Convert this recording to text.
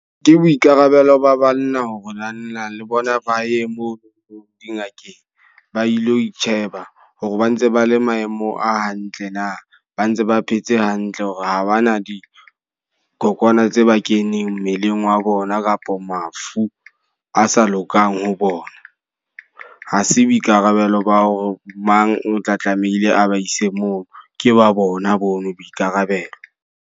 Ke boikarabelo ba banna hore naneng le bona ba ye moo dingakeng, ba ilo itjheba hore ba ntse ba le maemo a hantle na. Ba ntse ba phetse hantle hore ha bana dikokwana tse ba keneng mmeleng wa bona kapa mafu a sa lokang ho bona. Ha se boikarabelo ba ho mang o tla tlameile a ba ise moo. Ke ba bona bonwe boikarabelo.